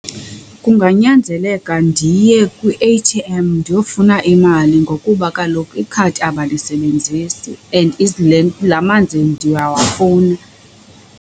Kunganyanzeleka ndiye kwi-A_T_M ndiyofuna imali ngokuba kaloku ikhadi abalisebenzisi and laa manzi ndiyawafuna.